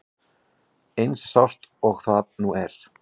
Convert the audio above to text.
Eins sárt og það nú er.